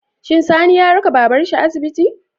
Shin Sani ya raka babar shi asibiti?